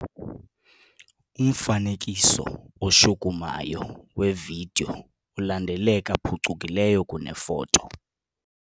Umfanekiso oshukumayo wevidiyo ulandeleka phucukileyo kunefoto.